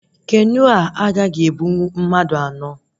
Keno a agaghị ebunwu mmadụ anọ